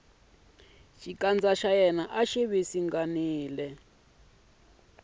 xikandza xa yena a xi